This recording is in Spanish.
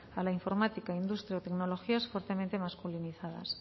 a la informática industria o tecnologías fuertemente masculinizadas